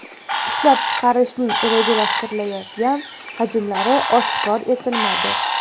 Ishlab chiqarishning rejalashtirilayotgan hajmlari oshkor etilmadi.